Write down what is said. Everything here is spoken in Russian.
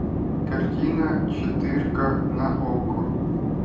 картина четырка на окко